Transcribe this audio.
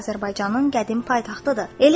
Azərbaycanın qədim paytaxtıdır.